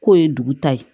K'o ye dugu ta ye